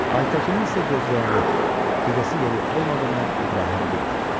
Aytəkinin isə gözləyəni, gedəsi yeri olmadığını İbrahim bilmirdi.